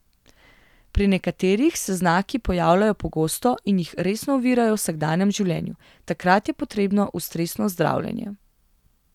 Pri nekaterih se znaki pojavljajo pogosto in jih resno ovirajo v vsakdanjem življenju, takrat je potrebno ustrezno zdravljenje.